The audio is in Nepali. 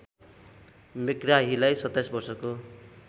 मेग्राहीलाई २७ वर्षको